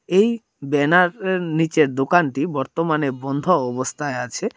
এই ব্যানার এর নীচে দোকানটি বর্তমানে বন্ধ অবস্থায় আছে।